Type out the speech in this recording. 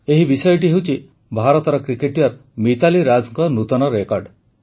ଏହି ବିଷୟଟି ହେଉଛି ଭାରତର କ୍ରିକେଟର ମିତାଲି ରାଜଙ୍କ ନୂତନ ରେକର୍ଡ଼